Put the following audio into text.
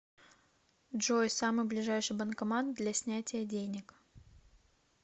джой самый ближайший банкомат для снятия денег